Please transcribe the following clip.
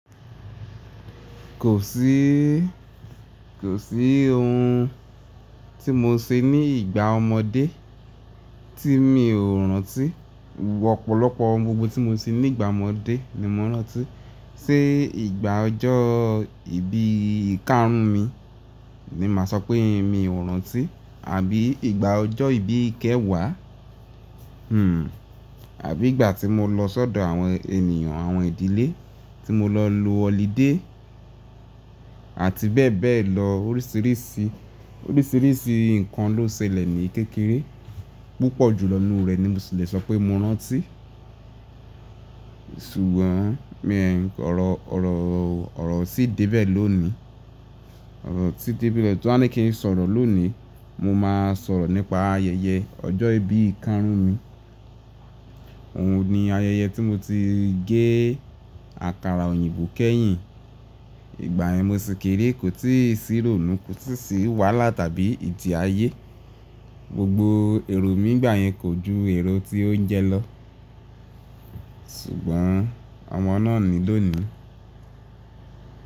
Kò sí, kò sí ohun tí mo ṣe ní ìgbà ọmọdé tí mi ò rántí. Ọ̀pọ̀lọpọ̀ ohun gbogbo tí mo ṣe ní ìgbà ọmọdé ni mo rántí. Ṣé ìgbà ọjọ́ ìbí ìkarun mi ni màá sọ pé mi ò rántí? Àbí ìgbà ọjọ́ ìbí ìkẹwàá? Àbí ìgbà tí mo lọ sọ́dọ̀ àwọn ènìyàn àwọn ìdílé tí mo lọ lo ọlidé àti bẹ́ẹ̀ bẹ́ẹ̀ lọ. Oríṣìíríṣìí, oríṣìíríṣìí nǹkan ló ṣẹlẹ̀ ní kékeré. Púpọ̀ jù lọ nu rẹ̀ ni mo sì le sọ pé mo rántí. Ṣùgbọ́n, mi ọ̀rọ̀, ọ̀rọ̀, ọ̀rọ̀ o tí débẹ̀ ló ni. Ọ̀rọ̀ o tí débẹ̀ Tí wọ́n ní kí n sọ̀rọ̀ ló ni, mo máa sọ̀rọ̀ nípa ayẹyẹ ọjọ́ ìbí ìkarun mi. Òun ni ayẹyẹ tí mo ti gé àkàrà òyìnbó kẹ́yìn. Ìgbà yẹn mo sì kéré, kò tí ì sí rònú, kò tí sì wàhálà tàbí ìtìayé. Gbogbo èrò mi ìgbà yẹn kò ju èrò tí óuńjẹ lọ. Ṣùgbọ́n ọmọ náà ni lónìí.